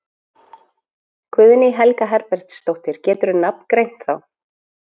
Guðný Helga Herbertsdóttir: Geturðu nafngreint þá?